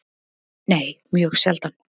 Nei, mjög sjaldan.